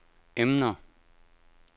emner